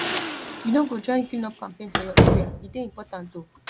you no go join cleanup campaign for your area e dey important o